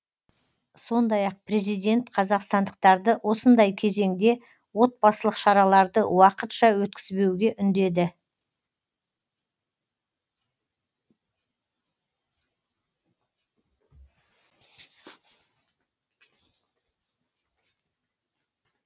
сондай ақ президент қазақстандықтарды осындай кезеңде отбасылық шараларды уақытша өткізбеуге үндеді